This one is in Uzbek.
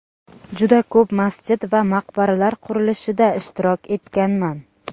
Juda ko‘p masjid va maqbaralar qurilishida ishtirok etganman.